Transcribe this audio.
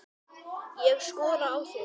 Ég skora á þig!